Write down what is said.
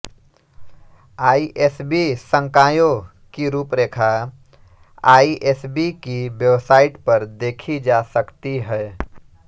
ISB संकायों की रूपरेखा आइएसबी की वेबसाइट पर देखी जा सकती है